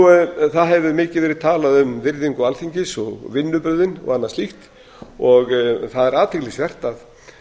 framkvæmdina það hefur mikið verið talað um virðingu alþingis og vinnubrögðin og annað slíkt og það er athyglisvert að nú